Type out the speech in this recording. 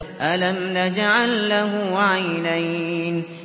أَلَمْ نَجْعَل لَّهُ عَيْنَيْنِ